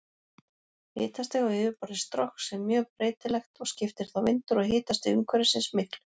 Hitastig á yfirborði Strokks er mjög breytilegt og skiptir þá vindur og hitastig umhverfisins miklu.